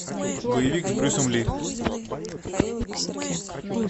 боевик с брюсом ли